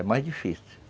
É mais difícil.